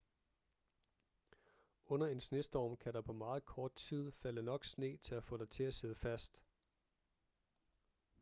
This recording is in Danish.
under en snestorm kan der på meget kort tid falde nok sne til at få dig til at sidde fast